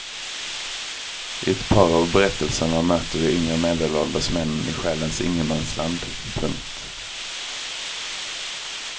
I ett par av berättelserna möter vi yngre medelålders män i själens ingenmansland. punkt